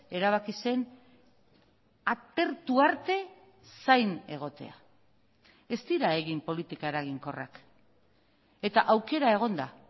erabaki zen atertu arte zain egotea ez dira egin politika eraginkorrak eta aukera egon da